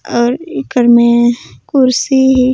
आउ एकर में कुर्सी हे़।